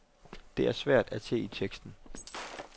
Det er svært at se i teksten.